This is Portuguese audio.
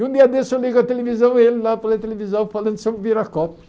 E um dia desse eu ligo a televisão e ele lá televisão falando sobre virar copos.